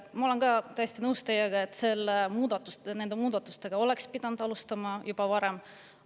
Ma olen teiega täiesti nõus, et nende muudatustega oleks pidanud alustama juba varem.